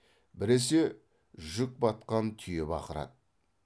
біресе жүк батқан түйе бақырады